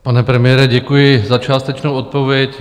Pane premiére, děkuji za částečnou odpověď.